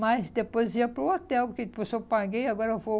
Mas depois ia para o hotel, porque depois eu paguei e agora eu vou...